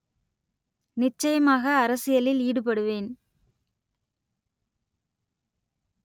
நிச்சயமாக அரசியலில் ஈடுபடுவேன்